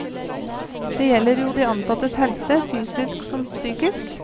Det gjelder jo de ansattes helse, fysisk som psykisk.